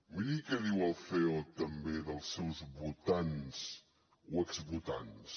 miri què diu el ceo també dels seus votants o exvotants